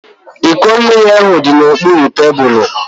Iko mmiri ahu di n'okpuru tebulu